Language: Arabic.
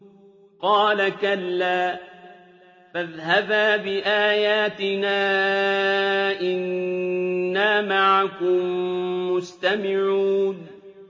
قَالَ كَلَّا ۖ فَاذْهَبَا بِآيَاتِنَا ۖ إِنَّا مَعَكُم مُّسْتَمِعُونَ